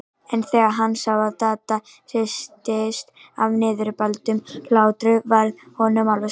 En þegar hann sá að Dadda hristist af niðurbældum hlátri varð honum alveg sama.